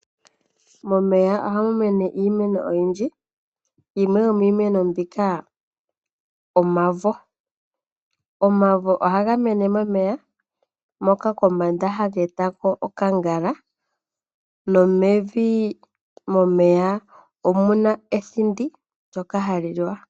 Momeya ohamu mene iimeno oyindji. Yimwe yomiimeno mbika omavo .omavo ohaga mene momeya moka kombanda haga etako okangala nomevi momeya omuna ethindi ndyoka hali liwa.